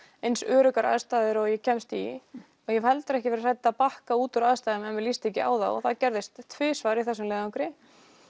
eins öruggar aðstæður og ég kemst í og ég hef heldur ekki verið hrædd við að bakka úr aðstæðum þegar mér líst ekki á þær og það gerðist tvisvar í þessum leiðangri